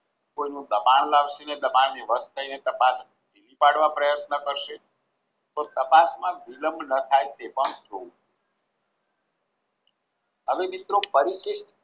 કોઈનું દબાણ પ્રયત્ન કરશે તો તપાસમાં વિલંબ ન થાય તે પણ જોવું હવે મિત્રો પરિશિષ્ટ